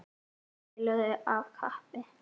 Þeir spiluðu af kappi.